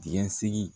Dingɛsen